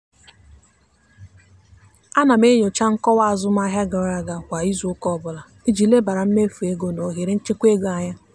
ana m enyocha nkọwa azụmahịa gara aga kwa izuụka ọbụla iji lebara mmefu ego na ohere nchekwa ego anya.